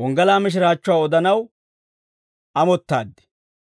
wonggalaa mishiraachchuwaa odanaw amottaad.